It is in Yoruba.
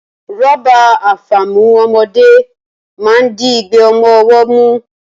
Rọ́bà àfàmu ọmọdé máa ń di igbe ọmọ ọwọ́ mú